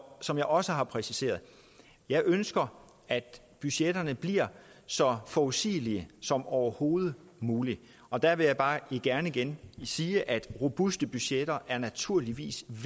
som jeg også har præciseret jeg ønsker at budgetterne bliver så forudsigelige som overhovedet muligt og der vil jeg bare gerne igen sige at robuste budgetter naturligvis